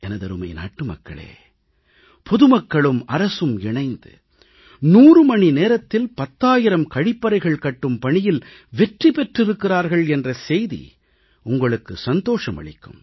எனதருமை நாட்டு மக்களே பொதுமக்களும் அரசும் இணைந்து 100 மணி நேரத்தில் 10000 கழிப்பறைகள் கட்டும் பணியில் வெற்றி பெற்றிருக்கிறார்கள் என்ற செய்தி உங்களுக்கு சந்தோஷத்தை அளிக்கும்